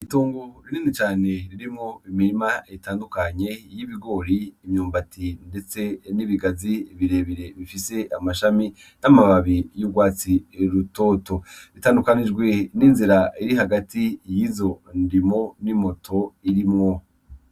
Itongo rinini cane ririmwo imirima itandukanye y'ibigori, imyumbati ndetse n'ibigazi birebire bifise amashami n'amababi y'urwatsi rutoto. Bitandukanijwe n'inzira iri hagati y'izo ndimo n'imoto irimwo